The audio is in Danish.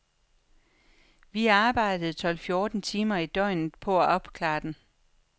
Vi arbejdede tolv fjorten timer i døgnet på at opklare den.